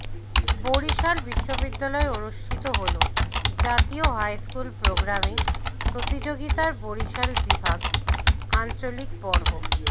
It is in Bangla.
বরিশাল বিশ্ববিদ্যালয়ে অনুষ্ঠিত হলো জাতীয় হাইস্কুল প্রোগ্রামিং প্রতিযোগিতার বরিশাল বিভাগ আঞ্চলিক পর্ব